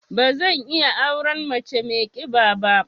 Ba zan iya auren mace mai ƙiba ba.